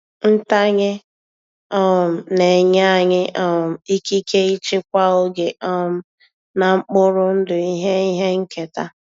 Ntanye um na-enye anyị um ikike ịchịkwa oge um na mkpụrụ ndụ ihe ihe nketa.